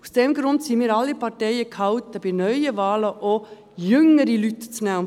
Deshalb sind wir Parteien alle gehalten, bei neuen Wahlen auch jüngere Leute zu nehmen.